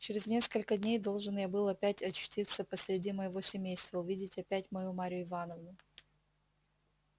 через несколько дней должен я был опять очутиться посреди моего семейства увидеть опять мою марью ивановну